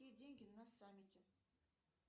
деньги на саммите